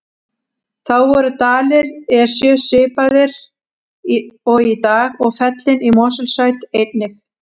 Þá voru dalir Esju svipaðir og í dag og fellin í Mosfellssveit einnig.